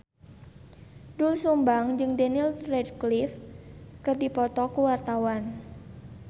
Doel Sumbang jeung Daniel Radcliffe keur dipoto ku wartawan